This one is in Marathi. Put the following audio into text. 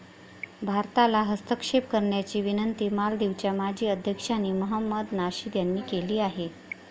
भारताला हस्तक्षेप करण्याची विनंती मालदीवच्या माजी अध्यक्षांनी महमद नाशीद यांनी केली आहे.